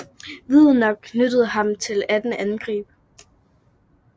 Vidner knyttede ham til 18 angreb